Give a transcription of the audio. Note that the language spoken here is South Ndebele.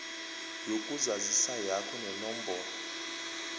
yokuzazisa yakho nenomboro